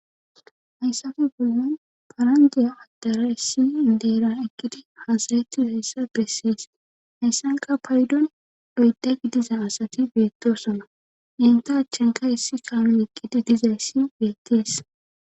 Hayssafe bollon parandiya addara essi deeran ekkidi hasarettihayssa bessees hayssanka paydon doyda gidiza asati beettosona ente achchanka hessi kaamu ekqidi dizayssi beettees.